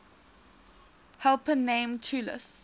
helper named talus